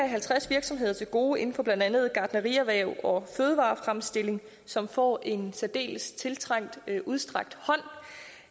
halvtreds virksomheder til gode inden for blandt andet gartnerierhvervet og fødevarefremstillingen som får en særdeles tiltrængt udstrakt hånd